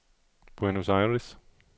Buenos Aires